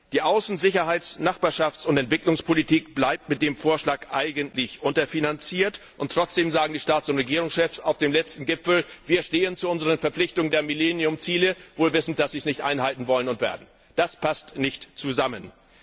Die Außen Sicherheits Nachbarschafts und Entwicklungspolitik bleibt mit dem Vorschlag eigentlich unterfinanziert, und trotzdem sagten die Staats und Regierungschefs auf dem letzten Gipfel Wir stehen zu unseren Verpflichtungen der Millenniumsentwicklungsziele, obwohl wir wissen, dass sie sie nicht einhalten wollen und werden. Das passt nicht zusammen!